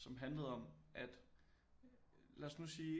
Som handlede om at lad os nu sige